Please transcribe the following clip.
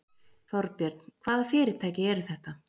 Þorbjörn: Hvaða fyrirtæki eru þetta?